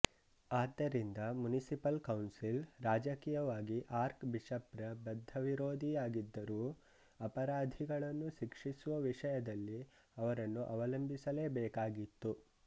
ಆದ್ದರಿಂದ municipal council ರಾಜಕೀಯವಾಗಿ archbishop ರ ಬದ್ಧ ವಿರೋಧಿಯಾಗಿದ್ದರೂ ಅಪರಾಧಿಗಳನ್ನು ಶಿಕ್ಷಿಸುವ ವಿಷಯದಲ್ಲಿ ಅವರನ್ನು ಅವಲಂಬಿಸಲೇಬೇಕಾಗಿತ್ತು